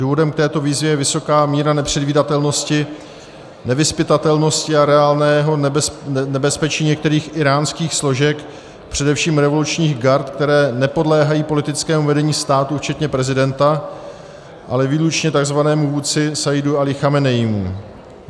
Důvodem k této výzvě je vysoká míra nepředvídatelnosti, nevyzpytatelnosti a reálného nebezpečí některých íránských složek, především revolučních gard, které nepodléhají politickému vedení státu včetně prezidenta, ale výlučně tzv. vůdci Sajjidu Alí Chameneímu.